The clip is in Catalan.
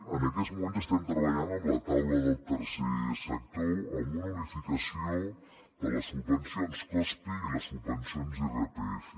en aquests moments estem treballant amb la taula del tercer sector amb una unificació de les subvencions cospe i les subvencions irpf